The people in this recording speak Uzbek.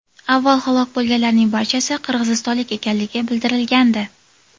Avval halok bo‘lganlarning barchasi qirg‘izistonlik ekanligi bildirilgandi .